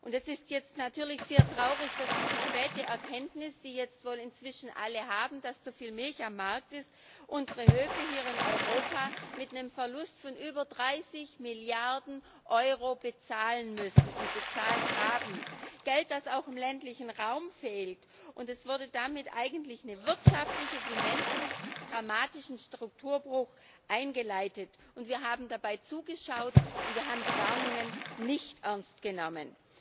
Es ist jetzt natürlich sehr traurig, dass diese späte Erkenntnis die jetzt wohl inzwischen alle haben dass zu viel Milch auf dem Markt ist, unsere Höfe hier in Europa mit einem Verlust von über 30 Milliarden Euro bezahlen müssen und bezahlt haben Geld, das auch im ländlichen Raum fehlt. Damit wurde eigentlich ein wirtschaftlich wie menschlich dramatischer Strukturbruch eingeleitet, und wir haben dabei zugeschaut und haben die Warnungen nicht ernst genommen.